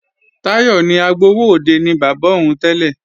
Táyọ̀ ní agbowóòde ni bàbá òun tẹ́lẹ̀